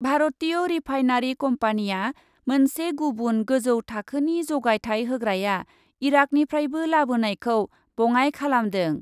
भारतीय रिफाइनारि कम्पानिआ मोनसे गुबुन गोजौ थाखोनि जगायथाय होग्राया इराकनिफ्रायबो लाबोनायखौ बङाइ खालामदों।